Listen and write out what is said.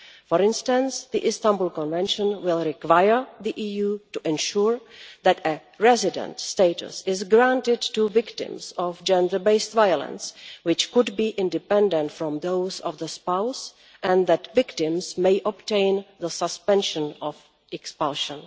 For instance, the Istanbul Convention will require the EU to ensure that resident status is granted to victims of gender based violence, which could be independent from that of the spouse, and that victims may obtain the suspension of expulsion.